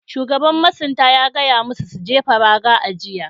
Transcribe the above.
Shugaban masunta ya gaya musu su jefa raga a jiya.